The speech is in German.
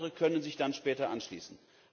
voraus? Andere können sich dann später